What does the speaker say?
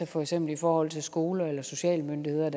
for eksempel i forhold til skole eller sociale myndigheder